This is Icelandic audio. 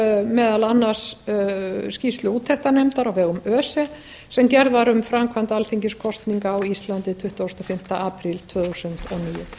meðal annars skýrslu úttektarnefndar á vegum öse sem gerð var um framkvæmd alþingiskosninga á íslandi tuttugasta og fimmta apríl tvö þúsund og níu